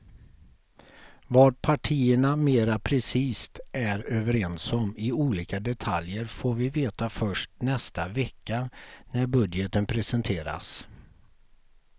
Vad partierna mera precist är överens om i olika detaljer får vi veta först nästa vecka när budgeten presenteras.